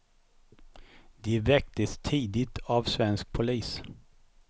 De väcktes tidigt av svensk polis.